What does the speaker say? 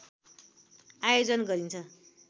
आयोजन गरिन्छ